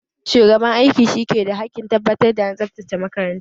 Shugaban aiki shi ki da hakkin tabbatar da an tsabtace makaranta